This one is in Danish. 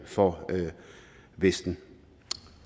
for vesten